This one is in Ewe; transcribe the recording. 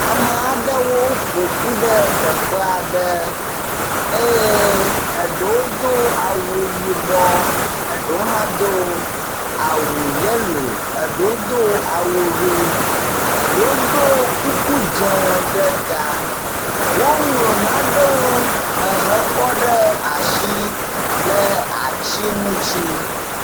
Ame aɖewo ƒoƒu ɖe teƒe aɖe eye eɖewo do awu yibɔ eɖewo hã do awu yelo eɖewo hã do awu ʋi, eɖewo do kuku dzẽ ɖe ta. Woŋlɔ nanewo ehekɔ ɖe asi le atsi ŋuti.